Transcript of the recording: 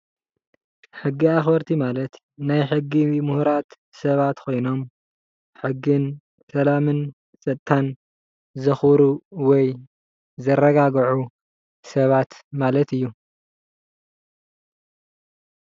ሕጊ ኣኸበርቲ ማለት ናይ ሕጊ ሙሁራት ሰባት ኮይኖም ሕግን፣ ሰላምን፣ ፀጥታን ዘኸብሩ ወይ ዘረጋግዑ ሰባት ማለት እዩ ፡፡